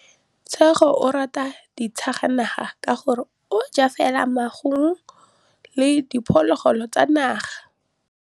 Tshekô o rata ditsanaga ka gore o ja fela maungo le diphologolo tsa naga.